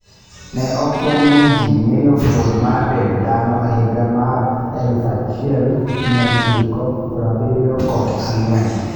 Ne okwong ne ji ng'eyo fuon mar dend dhano e higa mar 1974.